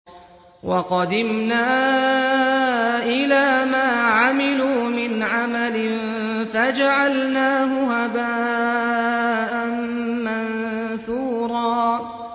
وَقَدِمْنَا إِلَىٰ مَا عَمِلُوا مِنْ عَمَلٍ فَجَعَلْنَاهُ هَبَاءً مَّنثُورًا